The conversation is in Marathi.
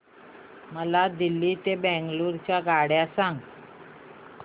मला दिल्ली ते बंगळूरू च्या आगगाडया सांगा